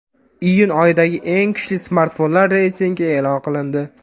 Iyun oyidagi eng kuchli smartfonlar reytingi e’lon qilindi.